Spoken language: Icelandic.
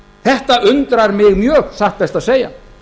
þetta undrar mig mjög satt best að segja